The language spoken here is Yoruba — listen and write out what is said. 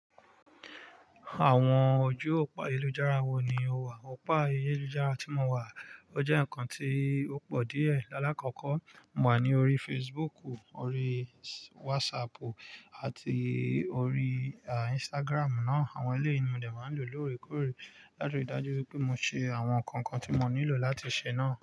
Àwọn ojú òpó ayélujára wo ni o wà? Òpó ayélujára tí mo wà, ó jẹ́ ǹnkan tí ó pọ̀ díẹ̀. Láàlakọ́kọ́, mo wà ní orí Facebook, orí WhatsApp àti orí Instagram ná. Àwọn eleyìí ni mo dẹ̀ máa n lo lóorekóòré láti rí i dájú wipé mo ṣe àwọn nǹkan kan tí mo nílò láti ṣe náà.